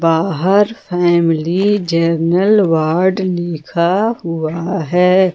आहार family general ward लिखा हुआ है।